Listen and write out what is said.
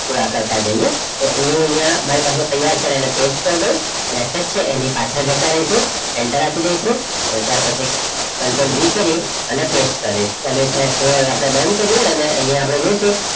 થોડા જઈએ તો એ અહીંયા મારી પાસે તૈયાર પડેલા પેસ્ટ કરી દવ message છે એની પાછળ જતા રહીશું એન્ટર આપી દઈશું અને ત્યાર પછી કંટ્રોલ V કરી અને પેસ્ટ કરો દઈશું બંધ કરે અને અહીંયા આપણે જઈશું